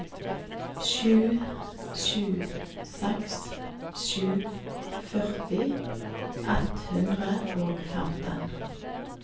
sju sju seks sju førti ett hundre og femten